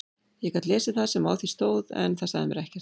Ég gat lesið það sem á því stóð en það sagði mér ekkert.